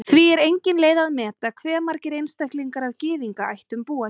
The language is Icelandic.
Því er engin leið að meta hve margir einstaklingar af Gyðingaættum búa hér.